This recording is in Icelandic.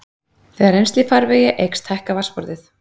þegar rennsli í farvegi eykst hækkar vatnsborðið